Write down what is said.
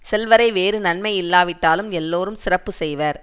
செல்வரை வேறு நன்மை இல்லாவிட்டாலும் எல்லாரும் சிறப்பு செய்வர்